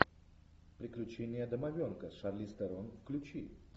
приключения домовенка с шарлиз терон включи